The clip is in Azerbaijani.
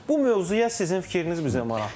Bu mövzuya sizin fikriniz bizə maraqlıdır.